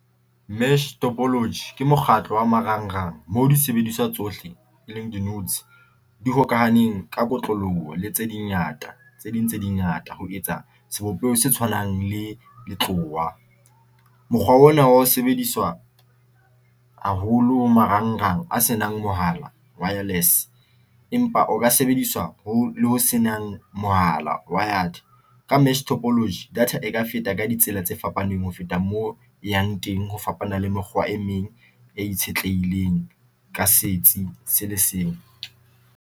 Mesh topology ke mokgatlo wa marangrang mo di sebediswa tsohle e leng di di hokahaneng ka kotloloho le tse dingata, tse ding tse ngata ho etsa sebopeho se tshwanang le letlowa mokgwa ona wa ho sebediswa haholo marangrang a se nang mohala wireless empa o ka sebediswa ho ho se nang mohala. Wired ka mesh topology data e ka feta ka ditsela tse fapaneng ho feta moo e yang teng ho fapana le mekgwa e meng ya itshetlehileng ka setsi se le seng.